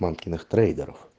мамкиных трейдеров